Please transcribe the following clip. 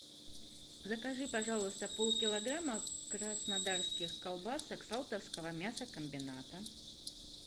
закажи пожалуйста полкилограмма краснодарских колбасок салтовского мясокомбината